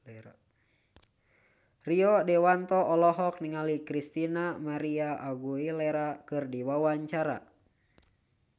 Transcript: Rio Dewanto olohok ningali Christina María Aguilera keur diwawancara